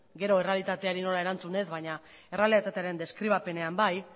gero errealitateari nola erantzun ez baina errealitatearen deskribapenean bai